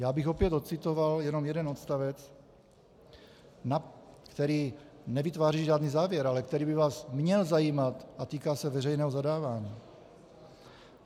Já bych opět ocitoval jenom jeden odstavec, který nevytváří žádný závěr, ale který by vás měl zajímat a týká se veřejného zadávání.